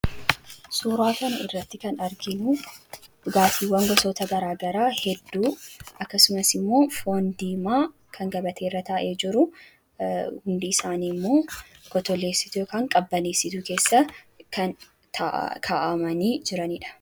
Suuraa kanarratti kan arginu dhugaatiiwwan gosa gara garaa hedduu akkasumas immoo foon diimaa kan gabatee irra taa'ee jiru ,humidity isaanii immoo kottolleessituu yookaan qabbaneessituu keessa kan kaa'amanii jiranidha.